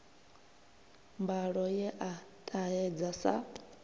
mbalo ye a ṱahedza sa